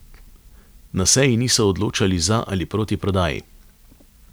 Na seji niso odločali za ali proti prodaji.